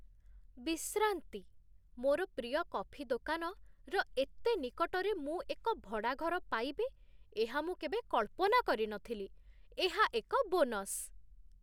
ବିଶ୍ରାନ୍ତି', ମୋର ପ୍ରିୟ କଫି ଦୋକାନ, ର ଏତେ ନିକଟରେ ମୁଁ ଏକ ଭଡ଼ା ଘର ପାଇବି, ଏହା ମୁଁ କେବେ କଳ୍ପନା କରିନଥିଲି। ଏହା ଏକ ବୋନସ୍!